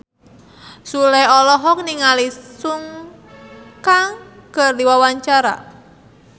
Sule olohok ningali Sun Kang keur diwawancara